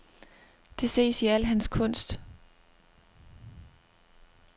Det ses i al hans kunst.